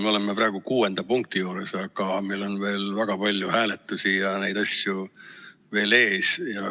Me oleme praegu 6. punkti juures, aga meil on veel väga palju hääletusi ees.